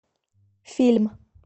фильм